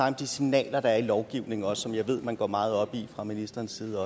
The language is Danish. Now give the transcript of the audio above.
om de signaler der er i lovgivningen og som jeg ved at man går meget op i fra ministerens side